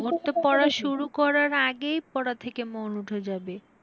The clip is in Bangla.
ওর তো পড়া শুরু করার আগেই পড়া থেকে মন উঠে যাবে।